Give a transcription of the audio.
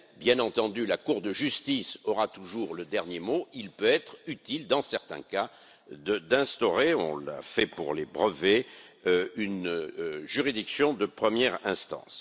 Bien entendu, si la Cour de justice aura toujours le dernier mot, il peut être utile dans certains cas d'instaurer on l'a fait pour les brevets une juridiction de première instance.